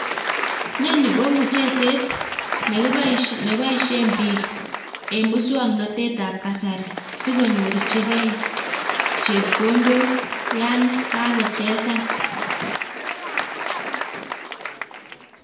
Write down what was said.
Nonii ko mucheset neboishen biik en muswoknotetab kasari sikonyorchikee chepkondok yaan kakocchesan.